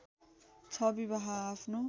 ६ विवाह आफ्नो